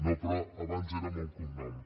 no però abans era amb el cognom